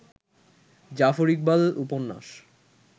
জাফর ইকবাল উপন্যাস